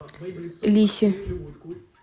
лисе